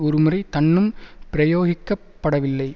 ஒரு முறை தன்னும் பிரயோகிக்கப் படவில்லை